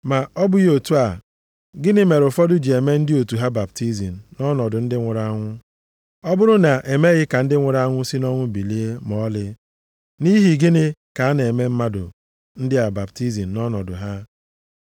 Ma ọ bụghị otu a, gịnị mere ụfọdụ ji eme ndị otu ha baptizim nʼọnọdụ ndị nwụrụ anwụ? Ọ bụrụ na e meghị ka ndị nwụrụ anwụ si nʼọnwụ bilie ma ọlị, nʼihi gịnị ka a na-eme mmadụ ndị a baptizim nʼọnọdụ ha?